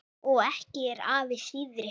Og ekki er afi síðri.